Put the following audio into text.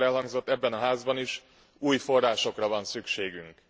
Sokszor elhangzott ebben a Házban is, új forrásokra van szükségünk.